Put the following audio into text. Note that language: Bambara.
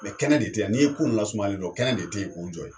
Mɛ kɛnɛ de te yan n'i ye ko in lasumayalen ye dɔn kɛnɛ de te yen k'o jɔ ye